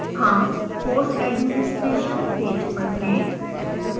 हम course administration page पर हैं